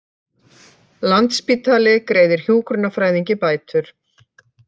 Landspítali greiði hjúkrunarfræðingi bætur